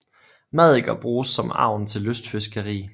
Maddiker bruges som agn til lystfiskeri